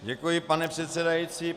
Děkuji, pane předsedající.